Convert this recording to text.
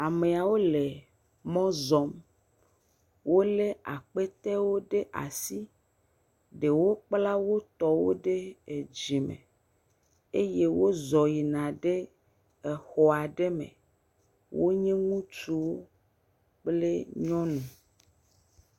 Ame yawo le mɔ zɔm, wolé akpetɛwo ɖe asi. Ɖewo kpla wotɔwo ɖe dzime eye wozɔ̃ yina ɖe xɔ aɖe me. Wonye ŋutsuwo kple nyɔnu.